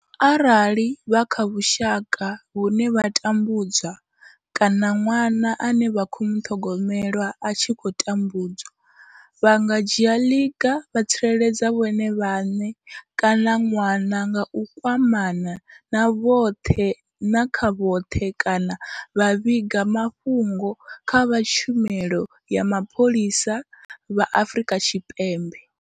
Arali vha kha vhusha ka vhune vha tambudzwa kana ṅwana ane vha khou muṱhogomela a tshi khou tambudzwa, vha nga dzhia ḽiga vha tsireledza vhone vhaṋe kana ṅwana nga u kwamana na vha khothe kana vha vhiga mafhungo kha vha tshumelo ya mapholisa vha Afrika Tshipembe.